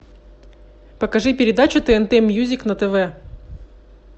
покажи передачу тнт мьюзик на тв